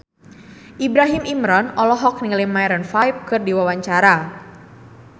Ibrahim Imran olohok ningali Maroon 5 keur diwawancara